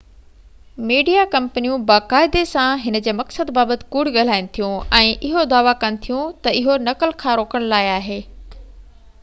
media ڪمپنيون باقاعدي سان هن جي مقصد بابت ڪوڙ ڳالهائين ٿيون، ۽ اهو دعويٰ ڪن ٿيون تہ اهو نقل کي روڪڻ لاءِ آهي